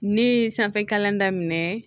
Ne ye sanfɛ kalan daminɛ